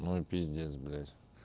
ну и пиздец блять